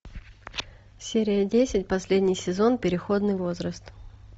серия десять последний сезон переходный возраст